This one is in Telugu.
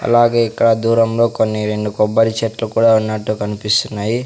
అలాగే ఇక్కడ దూరంలో కొన్ని రెండు కొబ్బరి చెట్లు కూడా ఉన్నట్టు కనిపిస్తున్నాయి.